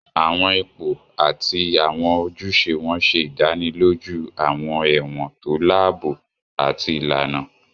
Àwọn ipò àti àwọn ojúṣe wọn ṣe ìdánilójú àwọn ẹ̀wọ̀n tó láàbò àti ìlànà